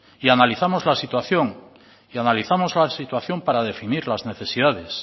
y analizamos la situación y analizamos la situación para definir las necesidades